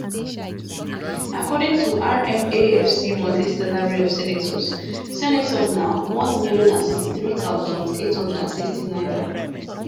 according to rmafc monthly salary of senators senators na 1063860 naira